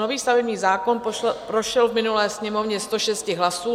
Nový stavební zákon prošel v minulé Sněmovně 106 hlasy.